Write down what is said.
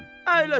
Əyləşin.